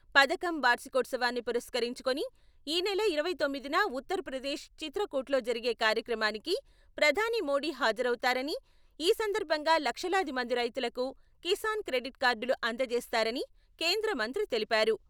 పథకం వార్షికోత్సవాన్ని పురస్కరించుకొని ఈ నెల ఇరవై తొమ్మిదిన ఉత్తర ప్రదేశ్ చిత్రకూట్లో జరిగే కార్యక్రమానికి ప్రధాని మోడీ హాజరవుతారని, ఈ సందర్భంగా లక్షలాది మంది రైతులకు కిసాన్ క్రెడిట్ కార్డులు అందజేస్తారని కేంద్ర మంత్రి తెలిపారు.